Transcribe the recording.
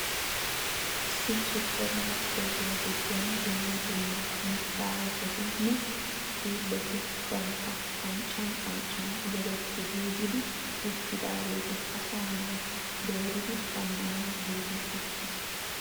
Issi suppermarkeettiya giddon dumma dumma mittaa ayipeti nne xiilleti bantta qanccan qanccan yegetti giigidi uttidaageeti asaa naati dooridi shammanawu giigi uttis.